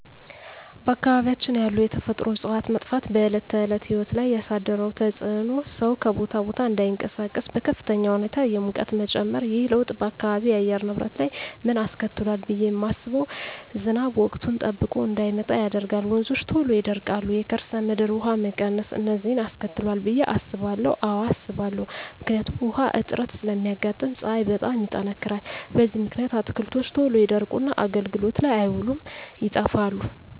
በአካባቢያችን ያሉ የተፈጥሮ እፅዋት መጥፋት በዕለት ተዕለት ሕይወት ላይ ያሣደረው ተፅኖ ሠው ከቦታ ቦታ እዳይንቀሣቀስ፤ በከፍተኛ ሁኔታ የሙቀት መጨመር። ይህ ለውጥ በአካባቢው የአየር ንብረት ላይ ምን አስከትሏል ብየ ማስበው። ዝናብ ወቅቱን ጠብቆ እዳይመጣ ያደርጋል፤ ወንዞች ቶሎ ይደርቃሉ፤ የከርሠ ምድር ውሀ መቀነስ፤ እነዚን አስከትሏል ብየ አስባለሁ። አዎ አስባለሁ። ምክንያቱም ውሀ እጥረት ስለሚያጋጥም፤ ፀሀይ በጣም ይጠነክራል። በዚህ ምክንያት አትክልቶች ቶሎ ይደርቁና አገልግሎት ላይ አይውሉም ይጠፋሉ።